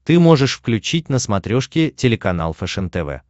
ты можешь включить на смотрешке телеканал фэшен тв